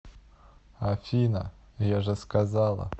афина я же сказала